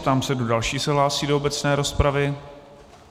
Ptám se, kdo další se hlásí do obecné rozpravy.